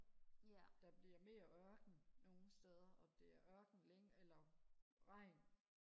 der bliver mere ørken nogle steder og det er øken eller regn